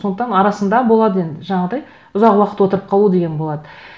сондықтан арасында болады енді жаңағыдай ұзақ уақыт отырып қалу деген болады